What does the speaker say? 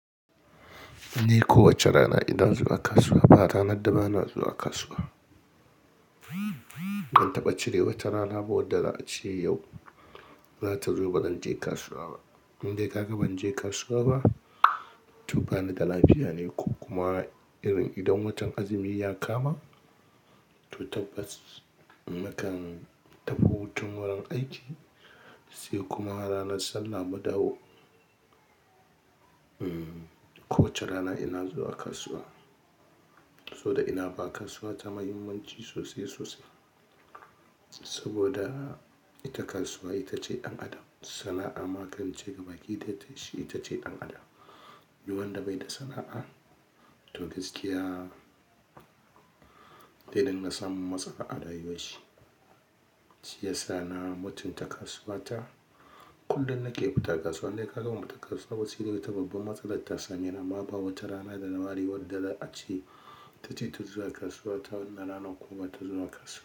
Ni kowace rana ina zuwa kasuwa ba ranar da ba na zuwa kasuwa. Ban taɓa cire wata rana, ba wadda za a ce yau za ta zo ba zan je kasuwa ba. Indai kaka ban je kasuwa ba, to bani da lafiya ne ko kuma irin idan watan azumi ya kama to tabbas nakan tafi hutun wurin aiki, sai kuma ranar sallah mu dawo. Hmm kowace rana ina zuwa kasuwa, saboda ina ba kasuwa ta muhimmanci sosai sosai. Saboda ita kasuwa ita ce ɗan adam, sana'a ma kan ce gaba ƙi dai tashi ita ce ɗan adam. Du wanda bai da sana'a to gaskiya, dai dinga samun matsalar arayuwan shi. Shi yasa na mutunta kasuwa ta. Kullun nake fita kasuwa, indai ka ga ban fita kasuwa sai dai wata babbar matsala ta same ni, amma ba wata rana da na ware wadda za a ce ta ce ta zuwa kasuwa ta na ranar kuma bata zuwa kasuwa.